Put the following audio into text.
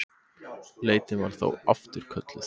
Leitin var þá afturkölluð